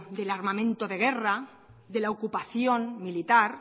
del armamento de guerra de la ocupación militar